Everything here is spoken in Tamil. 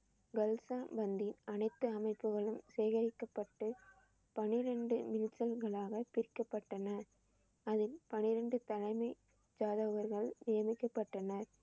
அனைத்து அமைப்புகளும் சேகரிக்கப்பட்டு பன்னிரண்டு பிரிக்கப்பட்டன. அதில் பன்னிரண்டு தலைமை ஜாதகர்கள் நியமிக்கப்பட்டனர்.